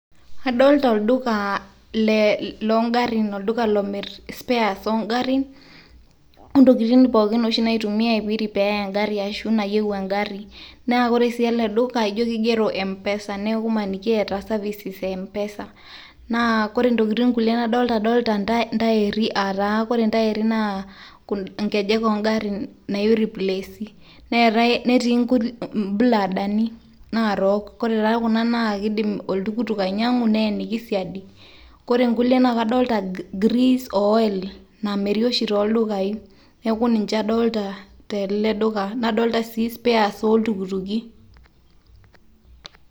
Adolta olduka le lo garrin, olduka lomir spares ogarrin, ontokiting oshi pookin naitumiai teniripeyai egarri ashu nayieu egarri. Na ore si ele duka, jo kigero mpesa. Neku emaniki eeta services e mpesa. Na kore ntokiting kulie nadolta, adolta ntairri, ataa kore ntairri na inkejek ogarrin nauriplesi. Neetae netii nkuti buladani narook. Kore taa kuna na kidim oltukutuk ainyang'u, neeniki siadi. Kore nkukie na kadolta grease o oil namiri oshi toldukai. Neeku ninche adolta tele duka. Nadolta si spares oltukutuki.